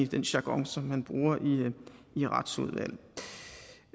den jargon som man bruger i retsudvalget